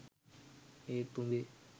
ඒත් උඹේ